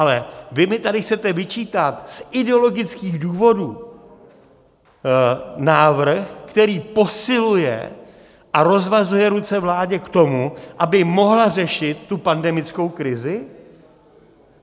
Ale vy mi tady chcete vyčítat z ideologických důvodů návrh, který posiluje a rozvazuje ruce vládě k tomu, aby mohla řešit tu pandemickou krizi?